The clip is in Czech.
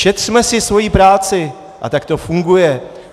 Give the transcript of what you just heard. Šetřeme si svoji práci a tak to funguje.